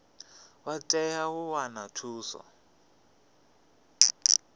vha tea u wana thuso